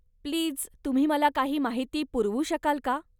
Please, तुम्ही मला काही माहिती पुरवू शकाल का?